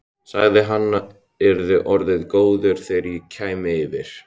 Sagði að hann yrði orðinn góður þegar ég kæmi yfir.